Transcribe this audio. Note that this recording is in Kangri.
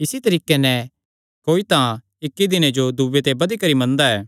इसी तरीके नैं कोई तां इक्की दिने जो दूये ते बधी करी मनदा ऐ